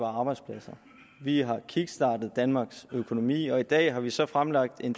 arbejdspladser vi har kickstartet danmarks økonomi og i dag har vi så fremlagt en